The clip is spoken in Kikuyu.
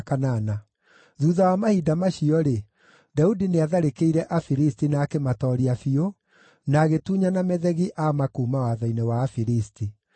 Thuutha wa mahinda macio-rĩ, Daudi nĩatharĩkĩire Afilisti na akĩmatooria biũ, na agĩtunyana Methegi-Amma kuuma watho-inĩ wa Afilisti.